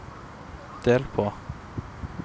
del på